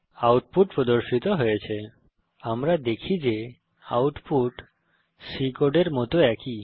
output প্রদর্শিত হয়েছে160 আমরা দেখি যে আউটপুট C কোডের মত একই